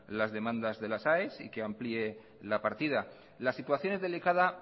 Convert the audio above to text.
las demandas de las aes y que amplíe la partida la situación es delicada